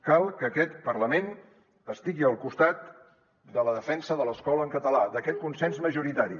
cal que aquest parlament estigui al costat de la defensa de l’escola en català d’aquest consens majoritari